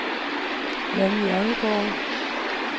Janni Odgaard